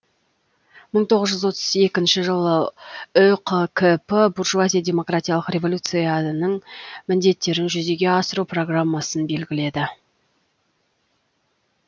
мың тоғыз жүз отыз екінші жылы үқкп буржуазия демократиялық революцияның міндеттерін жүзеге асыру программасын белгіледі